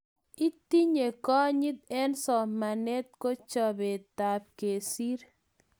Itinye konyit eng somanet ko chopetap kesir